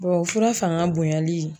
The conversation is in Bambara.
Bɔn o fura fanga bonyali